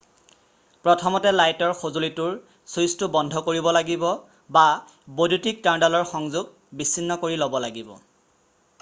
প্ৰথমতে লাইটৰ সজুলিটোৰ ছুইছটো বন্ধ কৰিব লাগিব বা বৈদ্যুতিক তাঁৰডালৰ সংযোগ বিছিন্ন কৰি ল'ব লাগিব